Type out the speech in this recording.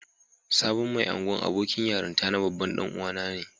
Sabon Mai Ungwan abokin yaranta na babban dan uwa na ne.